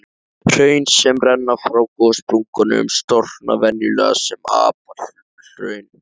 Hraun sem renna frá gossprungum storkna venjulega sem apalhraun.